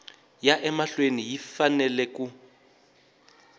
ya emahlweni yi fanele ku